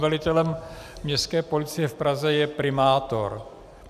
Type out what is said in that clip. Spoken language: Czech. Velitelem Městské policie v Praze je primátor.